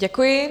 Děkuji.